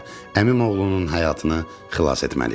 Əmim oğlunun həyatını xilas etməliyəm.